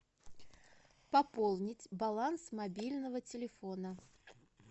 пополнить баланс мобильного телефона